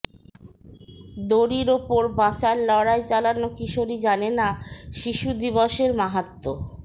দড়ির ওপর বাঁচার লড়াই চালানো কিশোরী জানে না শিশু দিবসের মাহাত্ম্য